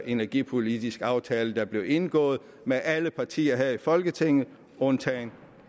energipolitisk aftale der blev indgået med alle partier her i folketinget undtagen